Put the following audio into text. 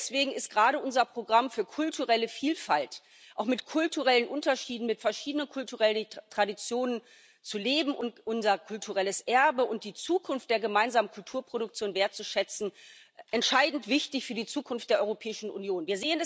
Deswegen ist gerade unser Programm für kulturelle Vielfalt, auch mit kulturellen Unterschieden, mit verschiedenen kulturellen Traditionen zu leben und unser kulturelles Erbe und die Zukunft der gemeinsamen Kulturproduktion wertzuschätzen, entscheidend wichtig für die Zukunft der Europäischen Union.